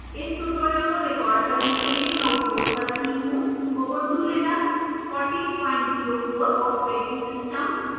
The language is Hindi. इस ट्यूटोरियल को रिकॉर्ड करने के लिए मैं उपयोग कर रही हूँ ubuntu linux 1404 ऑपरेटिंग सिस्टम